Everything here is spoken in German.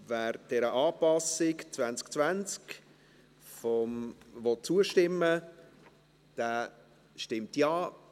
Wer dieser Anpassung 2020 zustimmen will, stimmt Ja,